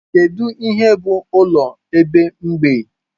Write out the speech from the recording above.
Kedu ihe bụ ụlọ ebe mgbei?